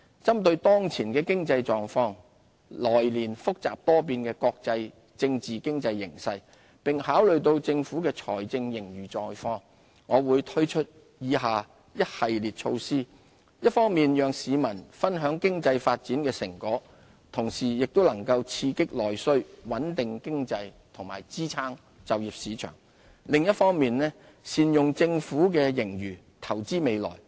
針對當前的經濟情況，來年複雜多變的國際政經形勢，並考慮到政府的財政盈餘狀況，我會推出以下一系列措施，一方面讓市民分享經濟發展的成果，同時亦能刺激內需、穩定經濟和支撐就業市場，另一方面，善用政府的資源投資未來。